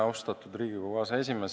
Austatud Riigikogu aseesimees!